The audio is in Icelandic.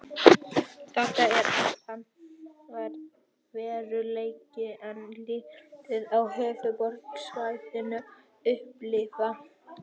Þetta er allt annar veruleiki en liðin á höfuðborgarsvæðinu upplifa.